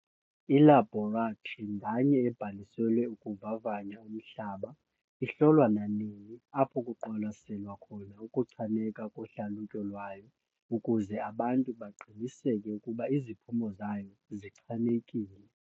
Ilabhoratri nganye ebhaliselwe ukuvavanya umhlaba ihlolwa nanini apho kuqwalaselwa khona ukuchaneka kohlalutyo lwayo ukuze abantu baqiniseke ukuba iziphumo zayo zichanekile.